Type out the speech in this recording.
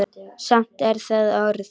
Samt er það orð.